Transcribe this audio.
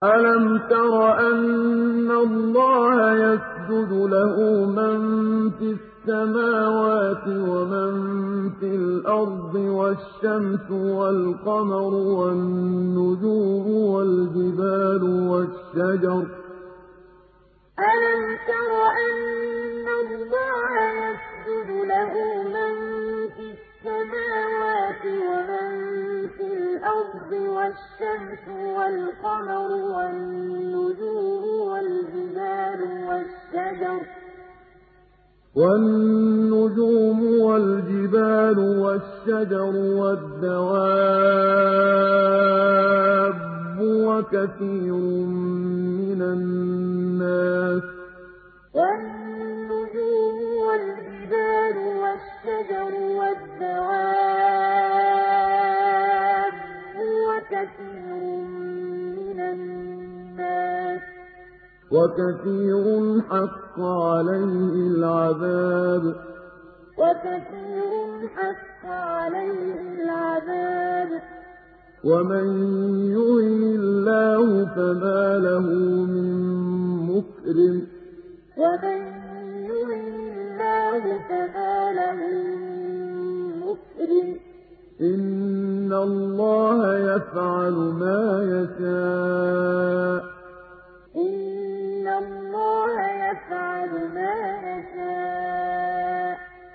أَلَمْ تَرَ أَنَّ اللَّهَ يَسْجُدُ لَهُ مَن فِي السَّمَاوَاتِ وَمَن فِي الْأَرْضِ وَالشَّمْسُ وَالْقَمَرُ وَالنُّجُومُ وَالْجِبَالُ وَالشَّجَرُ وَالدَّوَابُّ وَكَثِيرٌ مِّنَ النَّاسِ ۖ وَكَثِيرٌ حَقَّ عَلَيْهِ الْعَذَابُ ۗ وَمَن يُهِنِ اللَّهُ فَمَا لَهُ مِن مُّكْرِمٍ ۚ إِنَّ اللَّهَ يَفْعَلُ مَا يَشَاءُ ۩ أَلَمْ تَرَ أَنَّ اللَّهَ يَسْجُدُ لَهُ مَن فِي السَّمَاوَاتِ وَمَن فِي الْأَرْضِ وَالشَّمْسُ وَالْقَمَرُ وَالنُّجُومُ وَالْجِبَالُ وَالشَّجَرُ وَالدَّوَابُّ وَكَثِيرٌ مِّنَ النَّاسِ ۖ وَكَثِيرٌ حَقَّ عَلَيْهِ الْعَذَابُ ۗ وَمَن يُهِنِ اللَّهُ فَمَا لَهُ مِن مُّكْرِمٍ ۚ إِنَّ اللَّهَ يَفْعَلُ مَا يَشَاءُ ۩